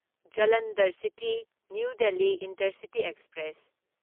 Jalandhar city new Delhi intercity express